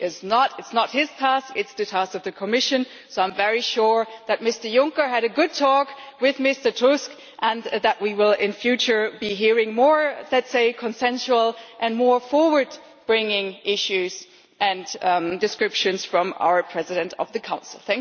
This is not his task, it is the task of the Commission, so I am very sure that Mr Juncker had a good talk with Mr Tusk and that we will in future be hearing more, let us say, consensual and more forward bringing issues and descriptions from our President of the Council.